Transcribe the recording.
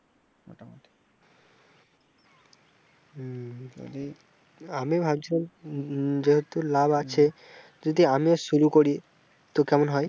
আমি ভাবছিলাম যেহেতু লাভ আছে যদি আমিও শুরু করি তো কেমন হয়?